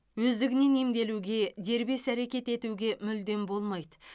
өздігінен емделуге дербес әрекет етуге мүлдем болмайды